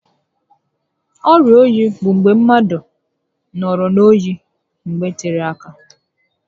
Ọrịa oyi bụ mgbe mmadụ nọrọ n'oyi mgbe tere áká